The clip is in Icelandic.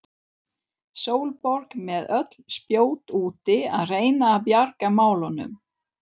Sólborg með öll spjót úti að reyna að bjarga málunum.